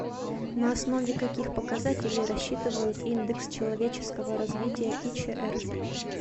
на основе каких показателей рассчитывают индекс человеческого развития ичр